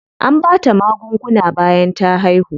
An bata magunguna bayan ta haihu.